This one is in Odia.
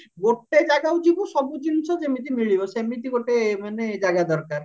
ଗୋଟେ ଜାଗାକୁ ଯିବୁ ସବୁ ଜିନିଷ ଯେମିତି ମିଳିବ ସେମିତି ଗୋଟେ ମାନେ ଜାଗା ଦରକାର